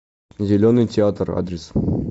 зеленый театр адрес